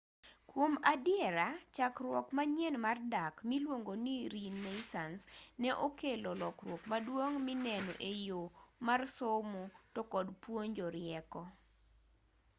kuom adiera chakruok manyien mar dak miluongoni renaissance ne okelo lokruok maduong' mineno e yo mar somo to kod puonjo rieko